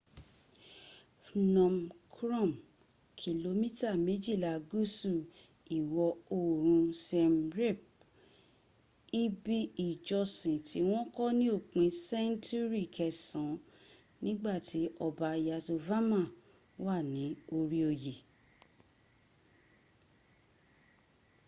phnom krom kìlómítà méjìlà gúsù ìwọ ̀oòrun siem reap. ibi ìjọsìn tí wọ́n kọ́ sí òpin sẹńtúrì kẹsan nígbàtí ọba yasovarman wà ní orí oy